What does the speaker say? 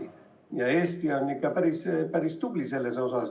Eesti on selles vallas ikka päris-päris tubli.